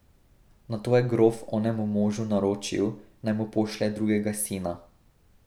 Nato je grof onemu možu naročil, naj mu pošlje drugega sina.